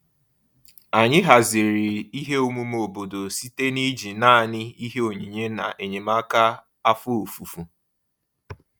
Anyị haziri ihe omume obodo site n'iji naanị ihe onyinye na enyemaka afọ ofufo.